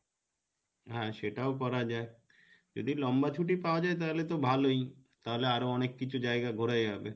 হ্যাঁ সেটাও করা যাই যদি লম্বা ছুটি পাওয়া যাই তাহলে তো ভালোই তাহলে আরো অনেক কিছু জায়গা ঘোরা যাবে,